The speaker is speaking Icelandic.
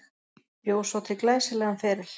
Bjó svo til glæsilegan feril.